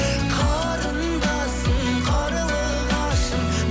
қарындасым қарлығашым